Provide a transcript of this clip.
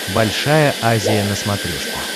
большая азия на смотрешке